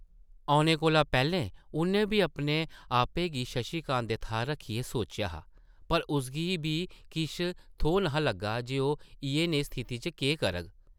औने कोला पैह्लें उʼन्नै बी अपने आपै गी शशि कांत दे थाह्र रक्खियै सोचेआ हा पर उसगी बी किश थौह् न’हा लग्गा जे ओह् इʼयै नेही स्थिति च केह् करग ।